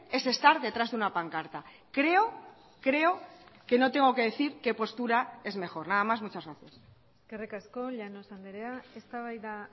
es estar detrás de una pancarta creo creo que no tengo que decir qué postura es mejor nada más muchas gracias eskerrik asko llanos andrea eztabaida